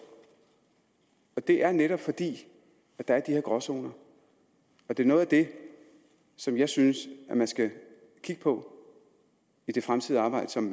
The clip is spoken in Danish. og det er netop fordi der er de her gråzoner det er noget af det som jeg synes at man skal kigge på i det fremtidige arbejde som